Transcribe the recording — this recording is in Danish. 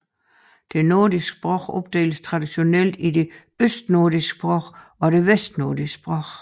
De nordiske sprog opdeles traditionelt i de østnordiske sprog og de vestnordiske sprog